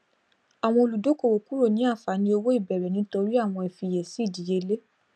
àwọn olùdókòwò kúrò ní àǹfààní òwò ìbẹrẹ nítorí àwọn ifiyèsí ìdíyelé